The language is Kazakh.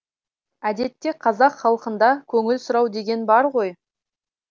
әдетте қазақ халқында көңіл сұрау деген бар ғой